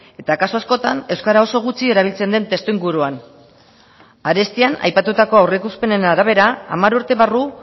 eta kasu askotan euskara oso gutxi erabiltzen den testuinguruan arestian aipatutako aurreikuspenen arabera hamar urte barru